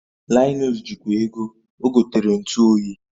Linus ji kwa ego, ogotere ntu oyi